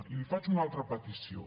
i li faig una altra petició